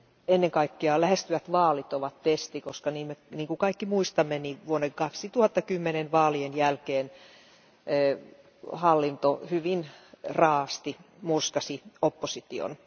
Ennen kaikkea lähestyvät vaalit ovat testi, koska niin kuin kaikki muistamme, vuoden 2010 vaalien jälkeen hallinto hyvin raa'asti murskasi opposition.